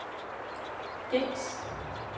gængs